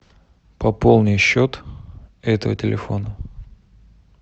пополни счет этого телефона